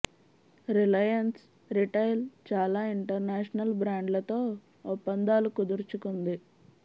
Reliance retail చాలా international బ్రాండ్లతో ఒప్పం దాలు కుదుర్చుకుం ది